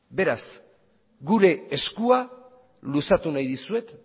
beraz gure eskua luzatu nahi dizuet